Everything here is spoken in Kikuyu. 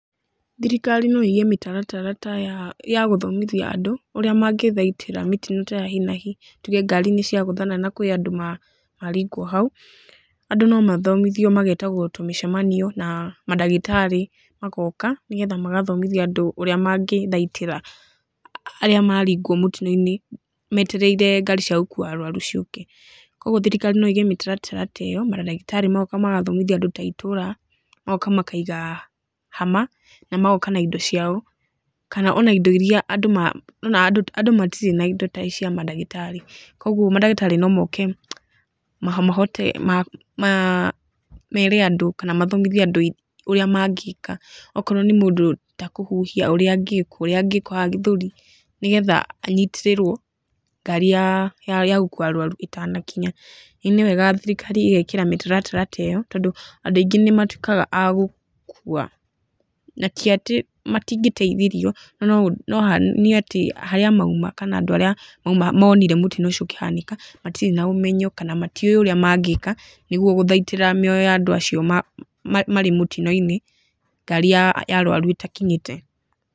Thirikari no ĩige mĩtaratara ta ya ya gũthomithia andũ, ũrĩa mangĩthaitĩra mĩtino ta ya hi na hi. Tuge ngari nĩ ciagũthana na kwĩ andũ maringwo hau, andũ no mathomithio magetagwo tũmĩcemanio, na mandagĩtarĩ magooka, nĩgetha magathomithia andũ ũrĩa mangĩthaitĩra arĩa maringwo mũtino-inĩ, metereire ngari cia gũkuua arũaru ciũke. Kũguo thirikari no ĩige mĩtaratara ta ĩyo, na mandagĩtarĩ moka magathomithia andũ ta itũũra, magoka makaiga hama, na magoka na indo ciao, kana ona indo irĩa andũ andũ matirĩ na indo ta ici cia mandagĩtarĩ. Kũguo mandagĩtarĩ no moke mahote, mere andũ kana mathomithie andũ ũrĩa mangĩka. Okorwo nĩ mũndũ ta kũhuhia ũrĩa angĩkwo. Ũrĩa angĩkwo haha gĩthũri, nĩgetha anyitĩrĩrwo ngari ya gũkuua arũaru ĩtanakinya. Nĩ wega thirikari ĩgekĩra mĩtaratara ta ĩyo, tondũ andũ aingĩ nĩ matuĩkaga a gũkua, na ti atĩ matingĩteithirio, no nĩ atĩ harĩa mauma, kana andũ arĩa monire mũtino ũcio ũkĩhanĩka, matirĩ na ũmenyo kana matiũĩ ũrĩa mangĩka, nĩguo gũthaitrĩa mĩoyo ya andũ acio marĩ mũtino-inĩ ngari ya arũaru ĩtakinyĩte.